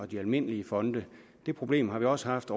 de almindelige fonde det problem har vi også haft